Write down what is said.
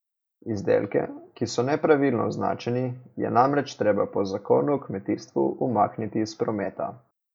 Izdelke, ki so nepravilno označeni, je namreč treba po zakonu o kmetijstvu umakniti iz prometa.